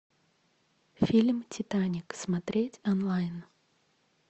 фильм титаник смотреть онлайн